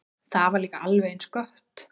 Það var líka alveg eins gott.